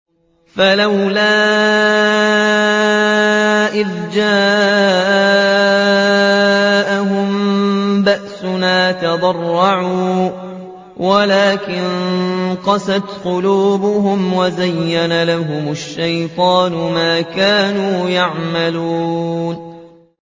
فَلَوْلَا إِذْ جَاءَهُم بَأْسُنَا تَضَرَّعُوا وَلَٰكِن قَسَتْ قُلُوبُهُمْ وَزَيَّنَ لَهُمُ الشَّيْطَانُ مَا كَانُوا يَعْمَلُونَ